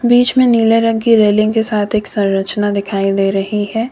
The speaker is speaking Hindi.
बीच मे नीले रंग की रेलिंग के साथ एक संरचना दिखाई दे रही है।